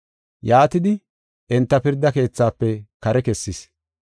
Yaatidi, enta pirda keethafe kare kessis.